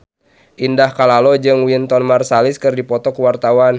Indah Kalalo jeung Wynton Marsalis keur dipoto ku wartawan